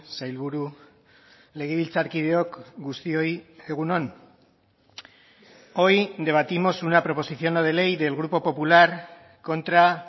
sailburu legebiltzarkideok guztioi egun on hoy debatimos una proposición no de ley del grupo popular contra